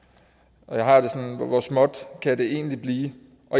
der har jeg det sådan hvor småt kan det egentlig blive